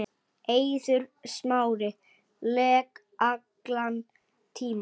Eiður Smári lék allan tímann.